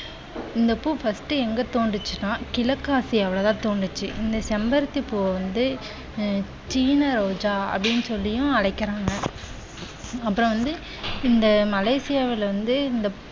இந்த பூ first எங்க தோன்றிரிச்சனா கிழக்கு ஆசியால தான் தோன்றிச்சு. இந்த செம்பருத்தி பூ வந்து சீன ரோஜா அப்படினு சொல்லியும் அழைக்கிறாங்க. அப்புறம் வந்து இந்த மலேசியாவில் வந்து இந்த